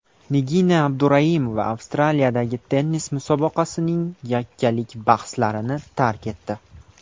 Nigina Abduraimova Avstraliyadagi tennis musobaqasining yakkalik bahslarini tark etdi.